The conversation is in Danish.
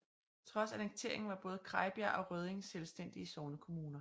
Trods annekteringen var både Krejbjerg og Rødding selvstændige sognekommuner